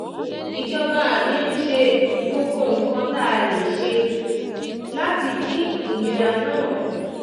ìjọba mi ń ṣe gbogbo nǹkan tá a lè ṣe láti dín ìnira náà kù